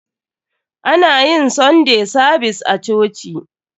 Ana yin sunday savis a coci.